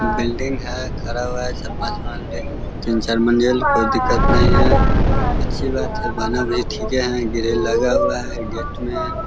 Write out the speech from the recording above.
Building है खड़ा हुआ है चार-पांच मंजिल तीन चार मंजिल कोई दिक्कत नही है अच्छी बात है बना भी ठीके है ग्रिल लगा हुआ है गेट में ।